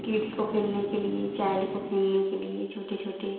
kids को खेलने के लिए चाइल्ड को खेलने के लिए छोटी-छोटी --